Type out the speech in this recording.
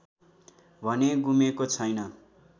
भने गुमेको छैन